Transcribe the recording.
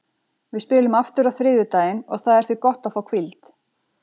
Við spilum aftur á þriðjudaginn og það er því gott að fá hvíld.